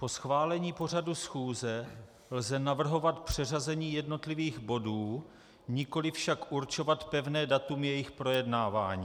Po schválení pořadu schůze lze navrhovat přeřazení jednotlivých bodů, nikoliv však určovat pevné datum jejich projednávání.